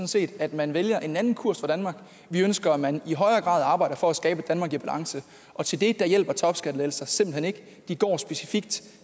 set at man vælger en anden kurs for danmark vi ønsker at man i højere grad arbejder for at skabe et danmark i balance og til det hjælper topskattelettelser simpelt hen ikke de går specifikt